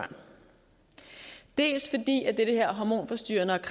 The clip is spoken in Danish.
det